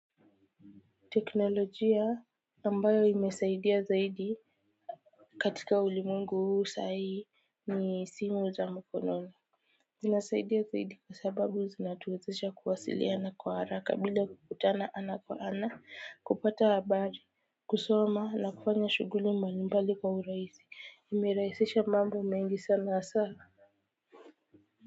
Teknolojia ambayo imesaidia zaidi katika ulimwengu saa hii ni simu za mkononi zinasaidia zaidi kwa sababu zinatuwezesha kuwasiliana kwa haraka bila kukutana ana kwa ana kupata habari, kusoma na kufanya shughuli mbalimbali kwa urahisi imerahisisha mambo mengi sana hasa.